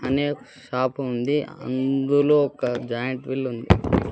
అనే షాప్ ఉంది అందులో ఒక జాయింట్వీల్ ఉంది.